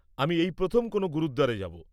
আমি এই প্রথম কোনও গুরুদ্বারে যাব।